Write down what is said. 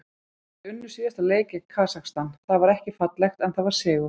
Þeir unnu síðasta leik gegn Kasakstan, það var ekki fallegt en það var sigur.